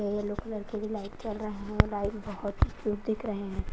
Yellow colour के भी light जल रहे हैं लाइट बहुत क्यूट दिख रहे हैं।